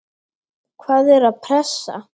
Hvaða er pressa?